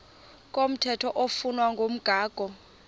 komthetho oflunwa ngumgago